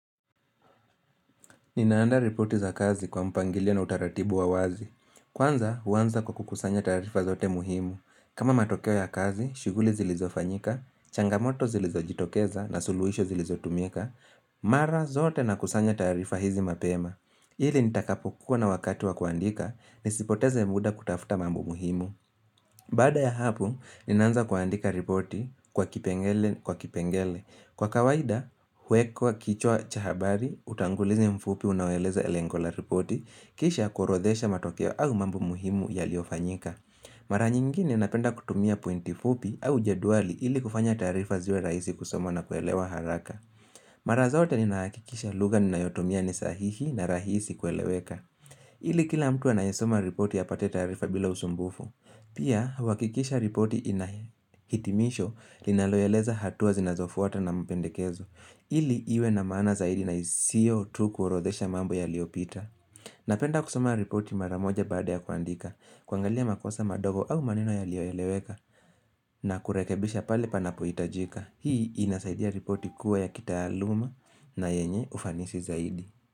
Ninaanda ripoti za kazi kwa mpangilia na utaratibu wa wazi. Kwanza, huanza kwa kukusanya taarifa zote muhimu. Kama matokeo ya kazi, shughuli zilizofanyika, changamoto zilizojitokeza na suluhisho zilizotumika. Mara zote nakusanya taarifa hizi mapema. Ili nitakapokuwa na wakati wa kuandika, nisipoteze muda kutafuta mambo muhimu. Baada ya hapo, ninaanza kuandika ripoti kwa kipengele. Kwa kawaida, huwekwa kichwa cha habari, utangulizi mfupi unaoeleza lengo la ripoti, kisha kuorodhesha matokeo au mambu muhimu yaliyofanyika. Mara nyingine napenda kutumia pointi fupi au jedwali ili kufanya taarifa ziwe rahisi kusomwa na kuelewa haraka. Mara zote ninahakikisha lugha ninayotumia ni sahihi na rahisi kueleweka. Ili kila mtu anayesoma ripoti apate taarifa bila usumbufu. Pia, huhakikisha ripoti ina hitimisho linaloeleza hatua zinazofuata na mpendekezo. Ili iwe na maana zaidi na isiyo tu kuorodhesha mambo yaliyopita. Napenda kusoma ripoti mara moja baada ya kuandika, kuangalia makosa madogo au maneno yaliyoeleweka na kurekebisha pale panapohitajika. Hii inasaidia ripoti kuwa ya kitaaluma na yenye ufanisi zaidi.